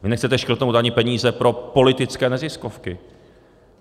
Vy nechcete škrtnout ani peníze pro politické neziskovky.